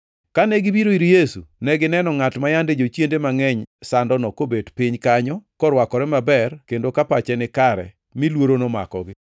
Kane gibiro ir Yesu, negineno ngʼat ma yande jochiende mangʼeny sandono kobet piny kanyo korwakore maber kendo pache nikare mi luoro nomakogi.